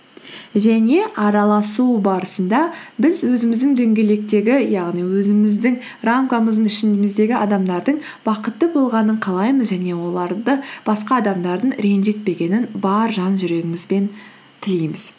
және араласу барысында біз өзіміздің дөңгелектегі яғни өзіміздің рамкамыздың ішіміздегі адамдардың бақытты болғанын қалаймыз және оларды басқа адамдардың ренжітпегенін бар жан жүрегімізбен тілейміз